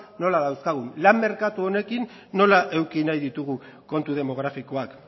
nola dauzkagun lan merkatu honekin nola eduki nahi ditugu kontu demografikoak